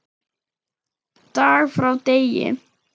Dag frá degi.